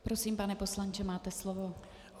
Prosím, pane poslanče, máte slovo.